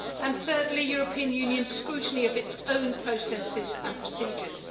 and thirdly European Union scrutiny of its own processes and procedures.